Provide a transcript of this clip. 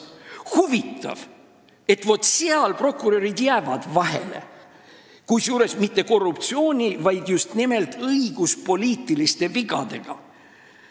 Huvitav, et vaat seal prokurörid jäävad vahele, kusjuures mitte korruptsiooni, vaid just nimelt õiguspoliitiliste vigadega.